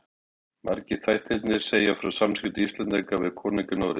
Margir þættirnir segja frá skiptum Íslendinga við konunga í Noregi.